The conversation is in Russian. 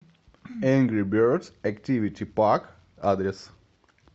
энгри бердс активити парк адрес